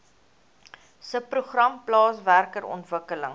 subprogram plaaswerker ontwikkeling